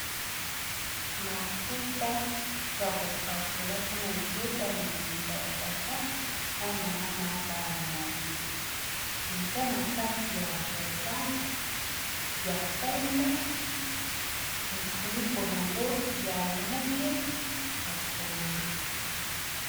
Mafuta ya kopakola mpo na libota mobimba ya tata na mama na bana na ye eza na kati ya bokale ya pembe mufuniko nango ya langi ya pondu